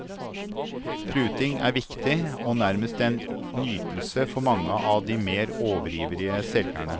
Pruting er viktig, og nærmest en nytelse for mange av de mer overivrige selgerne.